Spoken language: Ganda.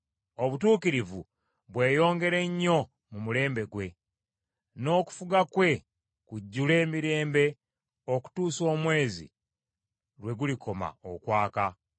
Obutuukirivu bweyongere nnyo mu mulembe gwe, n’okufuga kwe kujjule emirembe okutuusa omwezi lwe gulikoma okwaka!